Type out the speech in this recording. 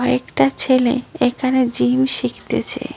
একটা ছেলে একানে জিম শিখতেছে।